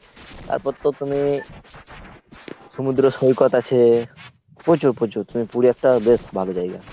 তারপর তো তুমি সমুদ্র সৈকত আছে, প্রচুর প্রচুর তুমি পুরী একটা বেশ ভালো জায়গা।